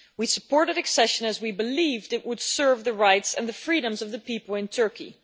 We supported accession as we believed it would serve the rights and the freedoms of the people in Turkey.